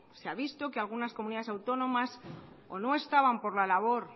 se ha visto que algunas comunidades autónomas o no estaban por la labor